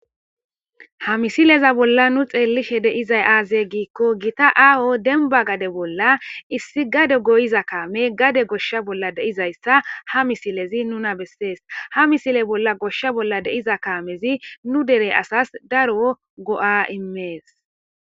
ha misileza bolla nu xeellishe deizay aaze giikko gita aaho denba gade bolla issi gade goyiza kaame gade goshsha bolla deizayssa ha misilezi nuna bessees ha misile bolla goshsha bolla deiza kaamezi nu dere asas daro go7a immees